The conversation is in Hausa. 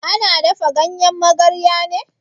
Ana dafa ganyen magarya ne?